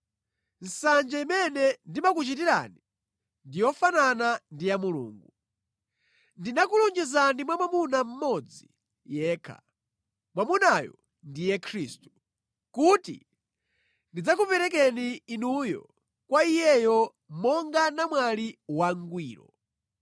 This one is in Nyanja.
Nsanje imene ndimakuchitirani ndi yofanana ndi ya Mulungu. Ndinakulonjezani mwamuna mmodzi yekha, mwamunayo ndiye Khristu, kuti ndidzakuperekeni inuyo kwa Iyeyo monga namwali wangwiro.